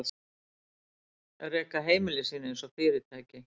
Reka heimili sín einsog fyrirtæki.